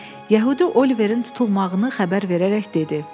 Yəhudi Oliverin tutulmağını xəbər verərək dedi.